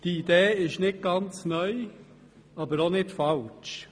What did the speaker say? Diese Idee ist nicht ganz neu, aber auch nicht falsch.